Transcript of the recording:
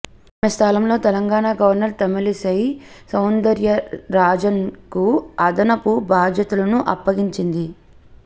ఆమె స్థానంలో తెలంగాణ గవర్నర్ తమిళిసై సౌందరరాజన్కు అదనపు బాధ్యతలను అప్పగించింది